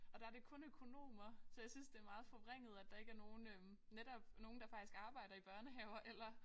Og der det kun økonomer så jeg synes det meget forvrænget at der ikke er nogen øh netop nogen der faktisk arbejder i børnehaver eller